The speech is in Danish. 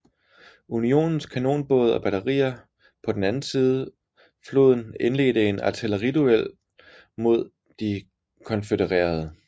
Unionens kanonbåde og batterier på den anden side floden indledte en artilleriduel med de konfødererede